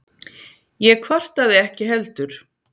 Ég kvartaði ekki heldur.